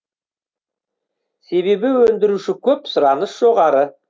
себебі өндіруші көп сұраныс жоғары